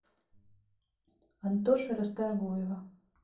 антоши расторгуева